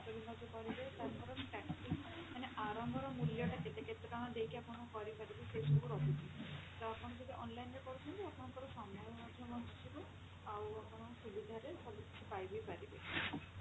ସ୍ୱାସ୍ଥ୍ୟ ବୀମା କରିବେ ତାଙ୍କର starting ମାନେ ଆରମ୍ଭର ମୂଲ୍ୟଟା କେତେ କେତେ ଟଙ୍କା ଦେଇକି ଆପଣ କରିବେ ସେସବୁ ରହୁଛି ତ ଆପଣ ଯଦି online ରେ କରୁଛନ୍ତି ଆପଣଙ୍କର ସମୟ ମଧ୍ୟ ବଞ୍ଚିଯିବ ଆଉ ଆପଣ ସୁବିଧାରେ ସବୁ କିଛି ପାଇ ବି ପାରିବେ।